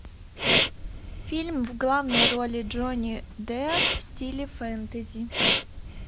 фильм в главной роли джонни депп в стиле фэнтези